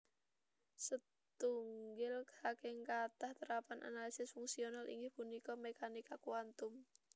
Setunggil saking kathah terapan analisis fungsional inggih punika mékanika kuantum